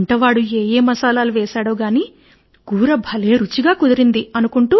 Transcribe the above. వంటవాడు ఏ ఏ మసాలా వేశాడో అంతా కూడా మంచిగా కలిసినది